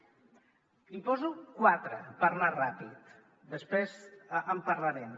n’hi poso quatre per anar ràpid després en parlarem